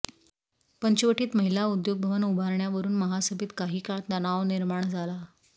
पंचवटीत महिला उद्योग भवन उभारण्यावरून महासभेत काही काळ तणाव निर्माण झाला